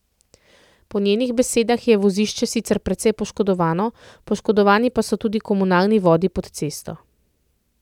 Po njenih besedah je vozišče sicer precej poškodovano, poškodovani pa so tudi komunalni vodi pod cesto.